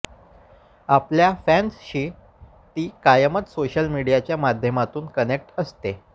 आपल्या फॅन्सशी ती कायमच सोशल मीडियाच्या माध्यमातून कनेक्ट असते